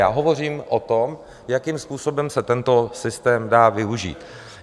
Já hovořím o tom, jakým způsobem se tento systém dá využít.